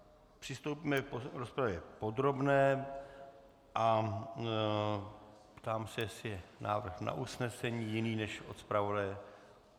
Přistoupíme k rozpravě podrobné a ptám se, jestli je návrh na usnesení jiný než od zpravodaje?